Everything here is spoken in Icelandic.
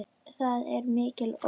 Það er mikil ógn.